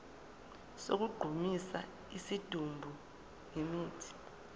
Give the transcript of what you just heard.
sokugqumisa isidumbu ngemithi